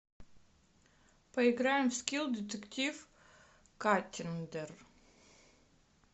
поиграем в скил детектив каттиндер